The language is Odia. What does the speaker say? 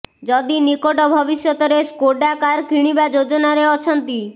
ଯଦି ନିକଟ ଭବିଷ୍ୟତରେ ସ୍କୋଡା କାର୍ କିଣିବାର ଯୋଜନାରେ ଅଛନ୍ତି